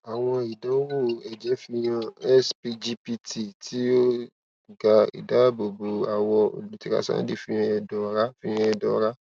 awọn idanwo ẹjẹ fihan sgpt ti o ga idaabobo awọ olutirasandi fihan ẹdọ ọra fihan ẹdọ ọra